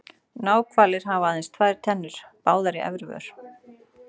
Náhvalir hafa aðeins tvær tennur, báðar í efri vör.